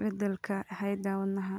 beddelka hidda-wadaha.